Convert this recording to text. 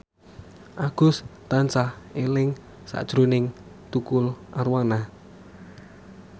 Agus tansah eling sakjroning Tukul Arwana